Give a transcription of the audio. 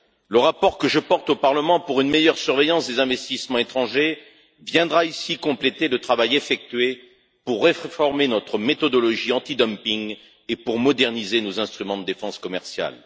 Le rapport que je porte au Parlement pour une meilleure surveillance des investissements étrangers viendra ici compléter le travail effectué pour réformer notre méthodologie antidumping et pour moderniser nos instruments de défense commerciale.